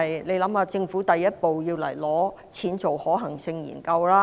大家想一想，政府第一步要來申請撥款，進行可行性研究。